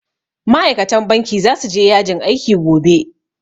Ma'aikatan banki zasu je yajin aiki gobe